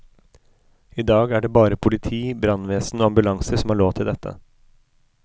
I dag er det bare politi, brannvesen og ambulanser som har lov til dette.